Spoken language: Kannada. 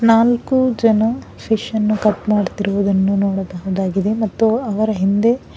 ನಾಲ್ಕು ಜನ ಫಿಶ ನ್ನು ಕಟ್ ಮಾಡ್ತಿರುವುದನ್ನು ನೋಡಬಹುದಾಗಿದೆ ಮತ್ತು ಅವರ ಹಿಂದೆ--